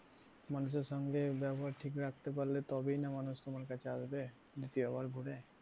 মানুষের সঙ্গে ব্যবহার ঠিক রাখতে পারলে তবেই না মানুষ তোমার কাছে আসবে দ্বিতীয় বার করে।